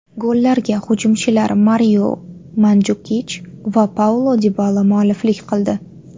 Gollarga hujumchilar Mario Manjukich va Paulo Dibala mualliflik qildi.